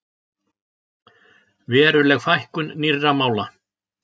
Veruleg fækkun nýrra mála